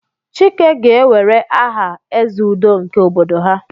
Chike ga-ewere aha "Eze Udo" nke obodo ha."